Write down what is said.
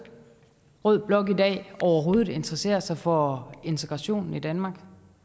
rød blok i dag overhovedet interessere sig for integrationen i danmark